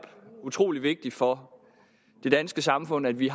utrolig vigtigt for det danske samfund at vi